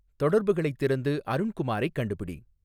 தொடர்புகளைத் திறந்து அருண்குமாரைக் கண்டுபிடி